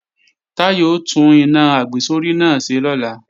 Táyọ̀ ó tún iná àgbésórí náà ṣe lọ́la